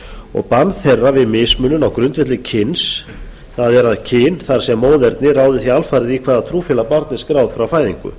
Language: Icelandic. og bann þeirra við mismunun á grundvelli kyns það er að kyn það er móðernið ráði því alfarið í hvaða trúfélag barn er skráð frá fæðingu